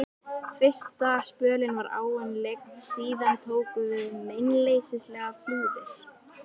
Fyrsta spölinn var áin lygn, síðan tóku við meinleysislegar flúðir.